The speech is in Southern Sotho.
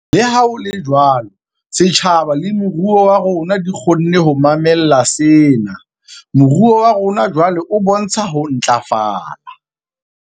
Leha ho le jwalo, setjhaba le moruo wa rona di kgonne ho mamella sena. Moruo wa rona jwale o bontsha ho ntlafala.